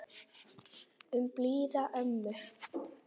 Um blíða ömmu.